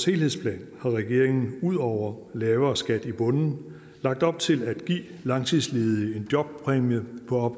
helhedsplan har regeringen ud over lavere skat i bunden lagt op til at give langtidsledige en jobpræmie på